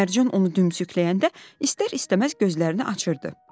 Mərcan onu dümsükləyəndə istər-istəməz gözlərini açırdı.